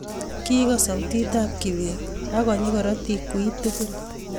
kigoos sautitab kibet ago nyii korotik wiy tugul